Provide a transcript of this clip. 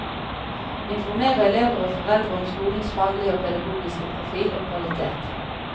Informere elever og foreldre om skolens faglige og pedagogiske profil og kvalitet.